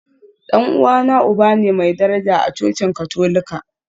Dan uwana uba ne mai daraja a cocin Katolika.